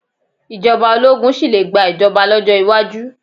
Ìjọba ológun sì le gba ìjọba lọ́jọ́ iwájú.